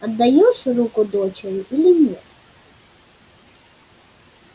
отдаёшь руку дочери или нет